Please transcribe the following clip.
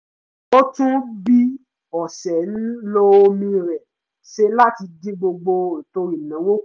ó tún bí ó ṣe ń lo omi rẹ̀ ṣe láti dín gbogbo ètò ìnáwó kù